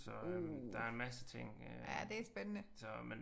Uh ja det er spændende